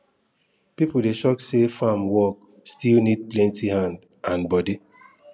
people dey shock say farm work still need plenty hand and body